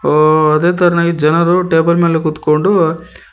ಓ ಅದೇ ತರನಾಗಿ ಜನರು ಟೇಬಲ್ ಮೇಲೆ ಕೂತ್ಕೋಕೊಂಡು--